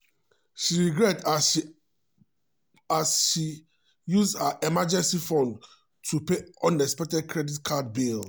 she regret as she as she use her emergency fund to pay unexpected credit card bill.